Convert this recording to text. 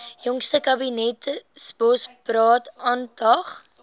jongste kabinetsbosberaad aandag